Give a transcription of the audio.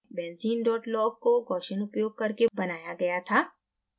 benzene log को gaussian उपयोग करके बनाया गया था